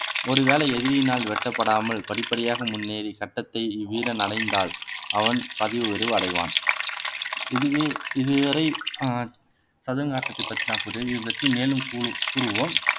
ஒருவேளை எதிரியினால் வெட்டப்படாமல் படிப்படியாக முன்னேறி சட்டத்தை வீரன் அடைந்தால் அவன் பதவி உயர்வு அடைவான் இதுவே இதுவரை ஆஹ் சதுரங்க ஆட்டத்தை பற்றி நான் இது பற்றி மேலும் கூறுவோம்